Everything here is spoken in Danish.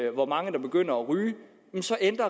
hvor mange der begynder at ryge